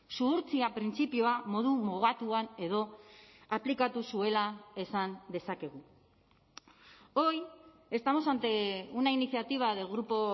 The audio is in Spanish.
zuhurtzia printzipioa modu mugatuan edo aplikatu zuela esan dezakegu hoy estamos ante una iniciativa del grupo